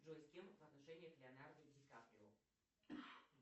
джой с кем в отношениях леонардо ди каприо